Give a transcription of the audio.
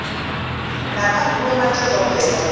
naphambi kwemantshi ezobheka